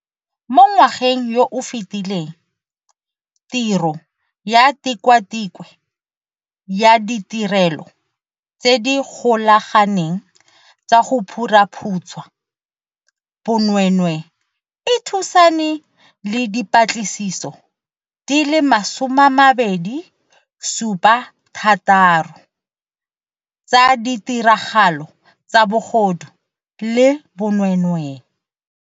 Mo ngwageng yo o fetileng, tiro ya Tikwatikwe ya Ditirelo tse di Golaganeng tsa go Phuruphutsha Bonweenwee e thusane le dipatlisiso di le 276 tsa ditiragalo tsa bogodu le bonweenwee.